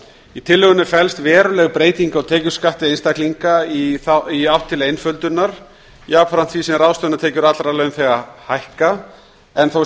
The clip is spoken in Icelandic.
í tillögunni felst veruleg breyting á tekjuskatti einstaklinga í átt til einföldunar jafnframt því sem ráðstöfunartekjur allra launþega hækka en þó